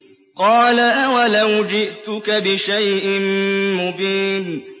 قَالَ أَوَلَوْ جِئْتُكَ بِشَيْءٍ مُّبِينٍ